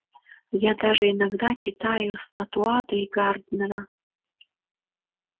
я даже иногда читаю стаута и гарднера